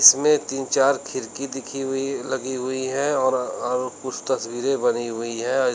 इसमें तीन चार खिड़की दिखी हुई लगी हुई है और अ कुछ तस्वीरे बनी हुई है अ इस--